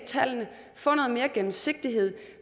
tallene få noget mere gennemsigtighed og